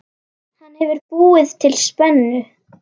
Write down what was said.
Hann hefur búið til spennu.